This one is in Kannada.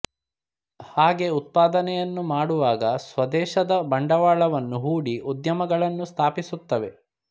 ಹಾಗೆ ಉತ್ಪಾದನೆಯನ್ನು ಮಾಡುವಾಗ ಸ್ವದೇಶದ ಬಂಡವಾಳವನ್ನು ಹೂಡಿ ಉದ್ಯಮಗಳನ್ನು ಸ್ಥಾಪಿಸುತ್ತವೆ